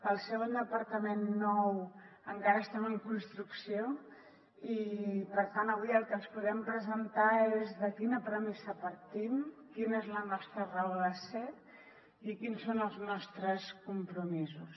al ser un departament nou encara estem en construcció i per tant avui el que els podem presentar és de quina premissa partim quina és la nostra raó de ser i quins són els nostres compromisos